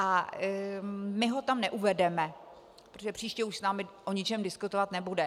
A my ho tam neuvedeme, protože příště už s námi o ničem diskutovat nebude.